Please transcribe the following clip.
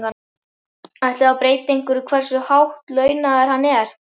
Ætli það breyti einhverju hversu hátt launaður hann er?